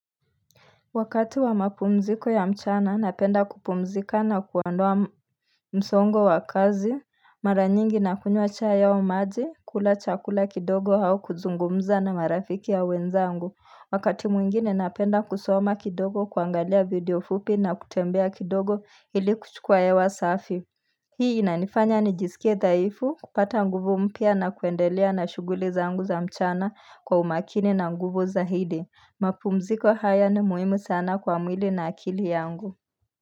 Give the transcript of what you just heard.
Wakati wa mapumziko ya mchana napenda kupumzika na kuandoa msongo wa kazi, mara nyingi na kunywa cha au maji, kula chakula kidogo au kuzungumza na marafiki ya wenzangu. Wakati mwingine napenda kusoma kidogo, kuangalia video fupi na kutembea kidogo ili kuchukua hewa safi. Hii inanifanya nijiskie dhaifu, kupata nguvu mpya na kuendelea na shughuli zangu za mchana kwa umakini na nguvu za hidi. Mapumziko haya ni muhimu sana kwa mwili na akili yangu.